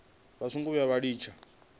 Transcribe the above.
vha songo vhuya vha litsha